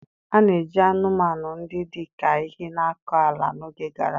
A na-eji anụmanụ ndị dị ka ehi na-akọ ala n'oge gara aga.